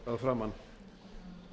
að framan